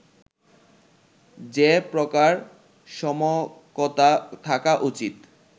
যে প্রকার সমকতা থাকা উচিত